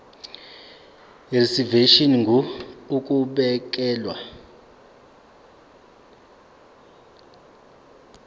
reservation ngur ukubekelwa